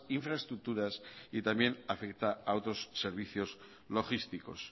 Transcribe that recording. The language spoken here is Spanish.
infraestructuras y también afecta a otros servicios logísticos